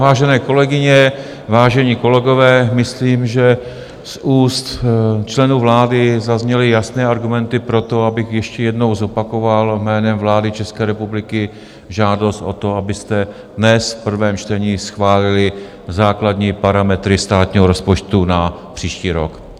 Vážené kolegyně, vážení kolegové, myslím, že z úst členů vlády zazněly jasné argumenty pro to, abych ještě jednou zopakoval jménem vlády České republiky žádost o to, abyste dnes v prvém čtení schválili základní parametry státního rozpočtu na příští rok.